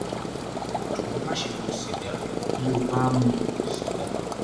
jọ̀wọ́ máṣe mu sìgá bí o bá ń mu sìgá